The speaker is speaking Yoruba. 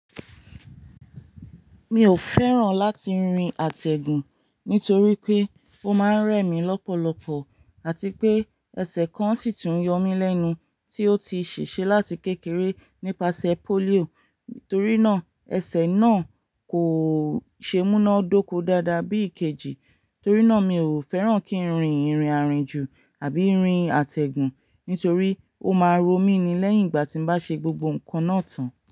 Mi ò fẹ́ràn láti rin àtẹ̀gùn nítorí pé ó máa ń rẹ mí lọ́pọ̀lọpọ̀ àti pé ẹsẹ̀ kan sì tún yọ mí lẹ́nu tí ó ti ṣèṣe láti kékeré nípasẹ̀ polio. Nítorínà ẹsẹ̀ náà kò ṣe múná dóko dáadáa bí ìkejì. Torí náà mi ò fẹ́ràn kí n rin ìrìnàrinjù àbí rin àtẹ̀gùn nítorí ó máa ro mí ni lẹ́yìn ìgbà tí mo bá ṣe gbogbo ǹkan náà tán.